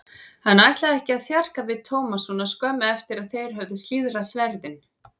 Hann ætlaði ekki að þjarka við Thomas svo skömmu eftir að þeir höfðu slíðrað sverðin.